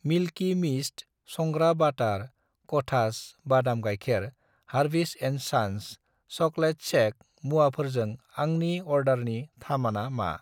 Milky Mist संग्रा बाटार, कथास बादाम गाइखेर, हारविस एन्ड सान्स चक्लेट सेक मुवाफोरजों आंनि अर्डारनि थामाना मा?